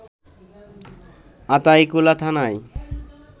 আতাইকুলা থানায়